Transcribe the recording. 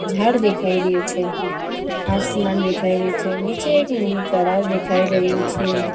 ઝાડ દેખાય રહ્યું છે આસમાન દેખાય રહ્યું છે નીચે એક નાનુ તળાવ દેખાય રહ્યું છે.